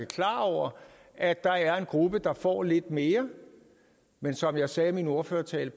klar over at der er en gruppe der får lidt mere men som jeg sagde i min ordførertale